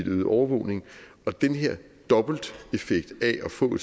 øget overvågning og den her dobbelteffekt af at få